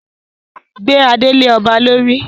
Gbé adé lé ọba lórí!